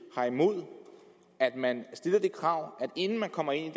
har imod at man stiller det krav at inden man kommer ind